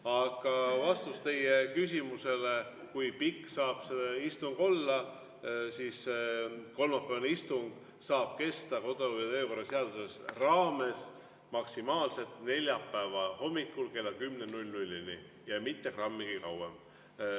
Aga vastus teie küsimusele, kui pikk saab see istung olla: kolmapäevane istung saab kesta kodu- ja töökorra seaduse kohaselt maksimaalselt neljapäeva hommikul kella 10-ni ja mitte grammi kauem.